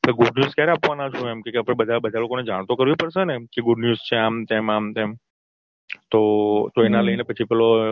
good news ક્યારે આપવાના છો એમકે આપણે બધા લોકોને જાન તો કરવી પડશેને કે good news છે આમ તેમ આમ તેમ તો તો એના લઈને પછી પેલો છોકરી એના ભઈને કે છોકરી ને ખબરેય ના હોય હે